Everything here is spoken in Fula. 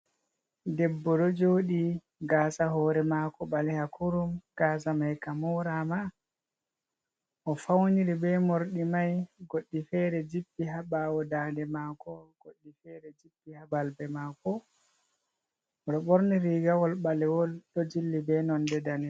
Debbo ɗo joɗi ga sa hore mako ɓalewa kurum. Gasa mai ka morama. O fauniri be morɗi mai. Goɗɗi fere jippi ha ɓawo da'nde mako goɗɗi fere jippi ha balbe mako ɓorni rigawol ɓalewol ɗo jilli be nonde danejum.